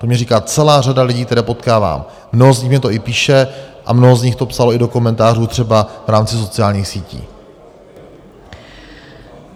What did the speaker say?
To mně říká celá řada lidí, které potkávám, mnoho z nich mně to i píše a mnoho z nich to psalo i do komentářů, třeba v rámci sociálních sítí.